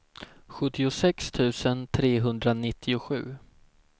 sjuttiosex tusen trehundranittiosju